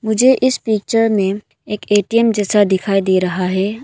मुझे इस पिक्चर में एक ए_टी_एम जैसा दिखाई दे रहा है।